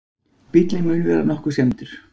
Bíllinn mun vera nokkuð skemmdur